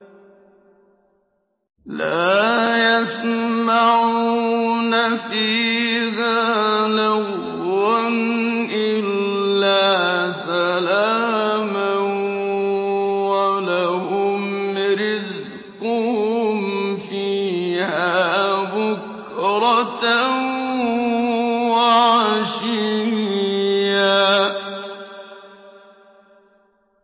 لَّا يَسْمَعُونَ فِيهَا لَغْوًا إِلَّا سَلَامًا ۖ وَلَهُمْ رِزْقُهُمْ فِيهَا بُكْرَةً وَعَشِيًّا